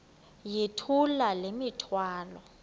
yithula le mithwalo